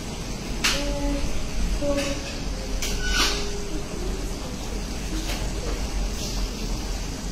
um to um to view dis con ten t choose accept and continue